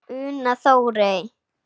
Una Þórey.